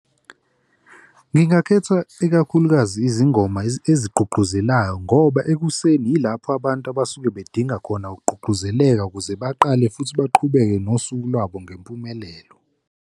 Ngingakhetha ikakhulukazi izingoma ezigqugquzelayo ngoba ekuseni yilapho abantu abasuke bedinga khona ukugqugquzeleka ukuze baqale futhi baqhubeke nosuku lwabo ngempumelelo.